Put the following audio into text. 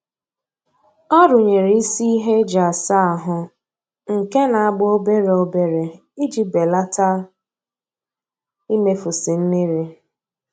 Ọ runyere isi ihe eji asa ahụ nke na-agba obere obere iji belata imefusi mmiri